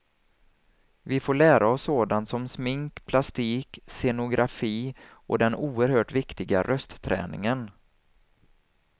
Vi får lära oss sådant som smink, plastik, scenografi och den oerhört viktiga röstträningen.